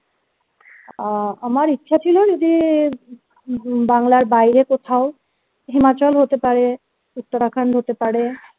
আহ আমার ইচ্ছে ছিল যদি ব~ বাংলার বাহিরে কোথাও হিমাচল হতে পারে Uttarakhand হতে পারে